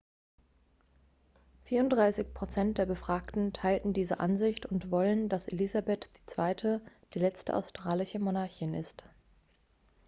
34 prozent der befragten teilen diese ansicht und wollen dass elisabeth ii. die letzte australische monarchin ist